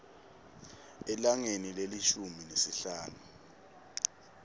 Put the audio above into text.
elangeni lelishumi nesihlanu